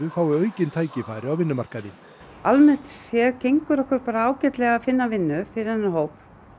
fái aukin tækifæri á vinnumarkaði almennt séð gengur okkur bara ágætlega að finna vinnu fyrir þennan hóp